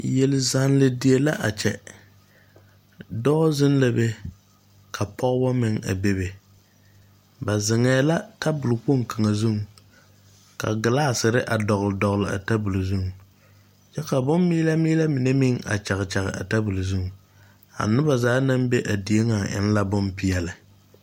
Yelzanne die la kye doɔ zeng la be ka pɔgba meng a bebe ba zengɛɛ la tabuli kpong kanga zung ka glassire a dɔgli dɔgli a tabulo zung kye ka bunn miele miele mene meng a kyag kyah a tabulo zung a nuba zaa nang be a deɛ nga eng la bompeɛle.